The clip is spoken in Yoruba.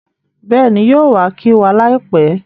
Bẹ́ẹ̀ni, yóò wa kí wa láìpẹ́